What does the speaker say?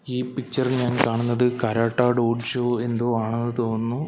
ഈ പിക്ചർ ഇൽ ഞാൻ കാണുന്നത് കരാട്ട ഡോഡ് ഷോ എന്തോ ആണെന്ന് തോന്നുന്നു.